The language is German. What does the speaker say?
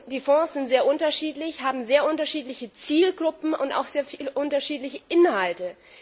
Die Fonds sind sehr unterschiedlich, haben sehr unterschiedliche Zielgruppen und auch sehr unterschiedliche Inhalte.